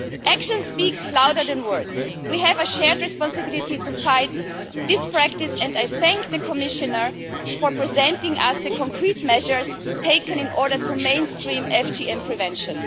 Actions speak louder than words. We have a shared responsibility to fight this practice, and I thank the Commissioner for presenting to us the concrete measures taken in order to mainstream FGM prevention.